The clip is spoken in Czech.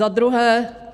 Za druhé.